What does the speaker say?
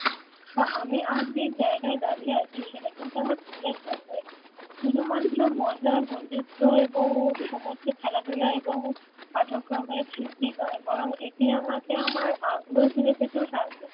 তা আমি আজ যে জায়গায় দাঁড়িয়ে আছি সেটা কিন্তু আমার school এর জন্যই শুধুমাত্র মজা আর বন্ধুত্ত্ব এবং সমস্ত খেলাধুলা এবং পাঠক্রমের সিদ্ধি নয় বরং এটি আমাকে আমার আগ্রহ ফিরে পেতেও সাহায্য